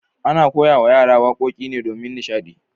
Ana koyawa yara wakoki ne domin nishadi.